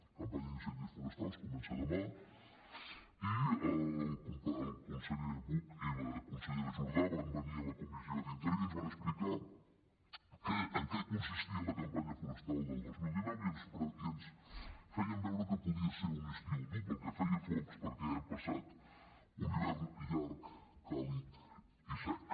la campanya d’incendis forestals comença demà i el conseller buch i la consellera jordà van venir a la comissió d’interior i ens van explicar en què consistia la campanya forestal del dos mil dinou i ens feien veure que podia ser un estiu dur pel que feia a focs perquè hem passat un hivern llarg càlid i sec